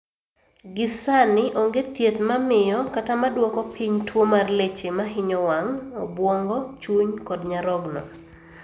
Gi sani onge thiedh mamio kata maduoko piny tuo mar leche mahinyo wang', obwongo, chuny kod nyarogno